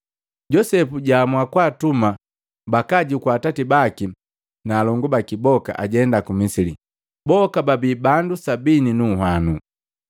Josepu jaamua kwaatuma bakaajukua atati baki na alongu baki boka ajenda ku Misili, boka babi bandu sabini nu nhwanu.